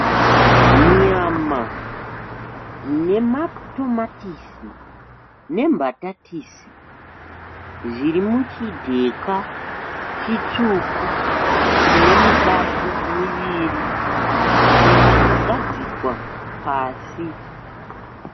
Nyama ,nematomatisi, nembatatisi zviri muchi dheka chitsvuku. Chine mibato miviri chakagadzikwa pasi.